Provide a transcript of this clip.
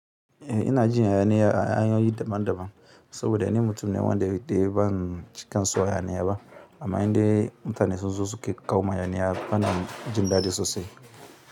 Eh ina jin hayani ya daban daban saboda ni mutum ne wanda ban cika son haya niya ba, amma in dai mutane sun zo su ke ƙawo min hayani ya bana jin daɗi sosai.